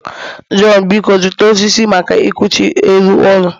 Jonh, biko zụta osisi maka ekuchi elu ụlọ